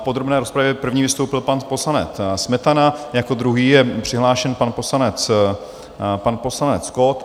V podrobné rozpravě první vystoupil pan poslanec Smetana, jako druhý je přihlášen pan poslanec Kott.